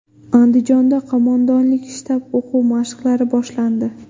Andijonda qo‘mondonlik-shtab o‘quv mashqlari boshlandi.